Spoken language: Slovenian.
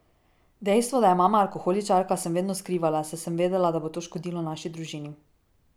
Dejstvo, da je mama alkoholičarka, sem vedno skrivala, saj sem vedela, da bo to škodilo naši družini.